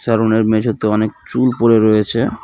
সেলুনের মেঝেতে অনেক চুল পড়ে রয়েছে.